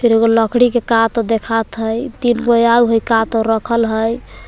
फिर एगो लकड़ी के का तो देखात हई तीनगो आव हई का तो रखल हई ।